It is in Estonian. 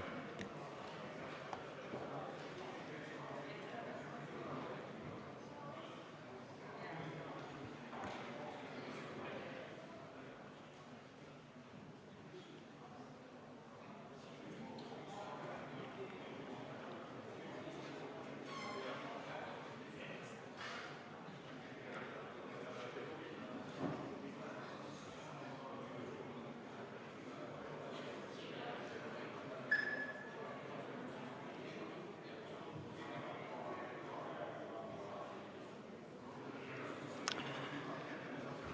Kohaloleku kontroll